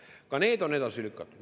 Ka need on edasi lükatud.